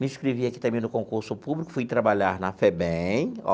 Me inscrevi aqui também no concurso público, fui trabalhar na FEBEM.